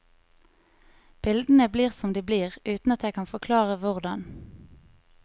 Bildene blir som de blir, uten at jeg kan forklare hvordan.